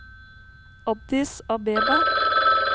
Addis Abeba